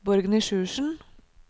Borgny Sjursen